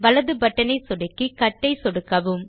வலது பட்டனை சொடுக்கி கட் ஐ சொடுக்கவும்